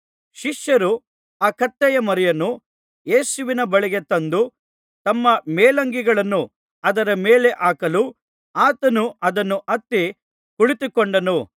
ಶಿಷ್ಯರು ಆ ಕತ್ತೆಮರಿಯನ್ನು ಯೇಸುವಿನ ಬಳಿಗೆ ತಂದು ತಮ್ಮ ಮೇಲಂಗಿಗಳನ್ನು ಅದರ ಮೇಲೆ ಹಾಕಲು ಆತನು ಅದನ್ನು ಹತ್ತಿ ಕುಳಿತುಕೊಂಡನು